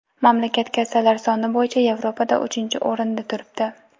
Mamlakat kasallar soni bo‘yicha Yevropada uchinchi o‘rinda turibdi.